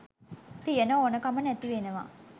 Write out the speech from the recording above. තියන ඕන කම නැති වෙනවා